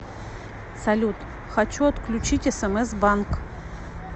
салют хочу отключить смс банк